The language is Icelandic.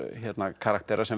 karaktera sem